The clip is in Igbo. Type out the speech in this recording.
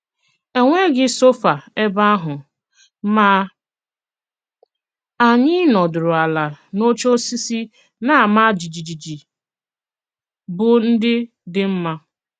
E nwéghị sôfà ebe àhụ, mà ànyị̀ nọdùrù àlà n’òchè òsìsì na-àmá jìjìjì, bụ́ ndị dị mma.